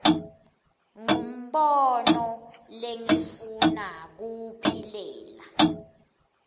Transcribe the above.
ngumbono lengifuna kuwuphilela